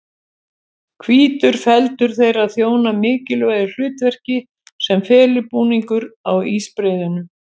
Hvítur feldur þeirra þjónar mikilvægu hlutverki sem felubúningur á ísbreiðunum.